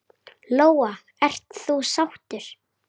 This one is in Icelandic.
Lóa: Ert þú sáttur?